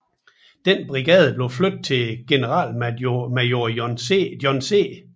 Denne brigade blev flyttet til generalmajor John C